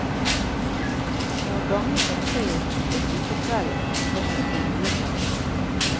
Når gangen rundt treet tok slutt utpå kvelden, høstet vi juletreet.